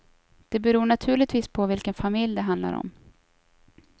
Det beror naturligtvis på vilken familj det handlar om.